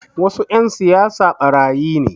Wasu 'yan siyasa ɓarayi ne